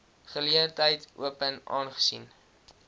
geleentheid open aangesien